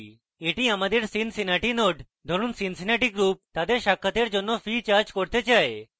এটি আমাদের cincinnati node ধরুন cincinnati group তাদের সাক্ষাতের জন্য fee charge করতে চায়